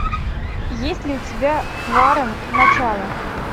есть ли у тебя хваран начало